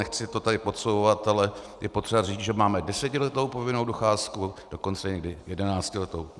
Nechci to tady podsouvat, ale je potřeba říct, že máme desetiletou povinnou docházku, dokonce někdy jedenáctiletou.